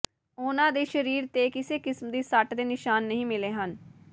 ਉਨ੍ਹਾਂ ਦੇ ਸਰੀਰ ਤੇ ਕਿਸੇ ਕਿਸਮ ਦੀ ਸੱਟ ਦੇ ਨਿਸ਼ਾਨ ਨਹੀਂ ਮਿਲੇ ਹਨ